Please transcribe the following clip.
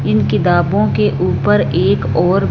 इन किताबों के ऊपर एक और--